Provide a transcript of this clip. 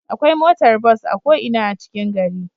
Akwai motar bus a ko Ina a cikin gari